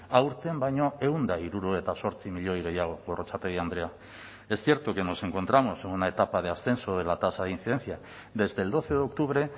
aurten baino ehun eta hirurogeita zortzi milioi gehiago gorrotxategi andrea es cierto que nos encontramos en una etapa de ascenso de la tasa de incidencia desde el doce de octubre